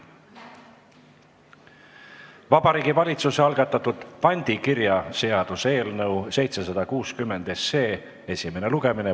Vabariigi Valitsuse algatatud pandikirjaseaduse eelnõu 760 esimene lugemine.